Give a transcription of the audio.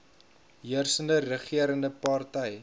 heersende regerende party